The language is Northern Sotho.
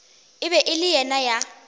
e bego e le ya